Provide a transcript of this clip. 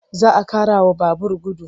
Za a ƙarawa babur gudu.